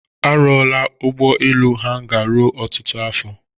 A rụọla ụgbọ elu n'hanga ruo ọtụtụ afọ.